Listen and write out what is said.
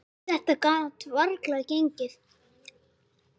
Þetta gat varla gengið.